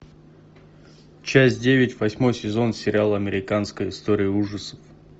часть девять восьмой сезон сериала американская история ужасов